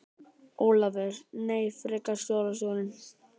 Ólafur: Nei, frekar skólastjórann.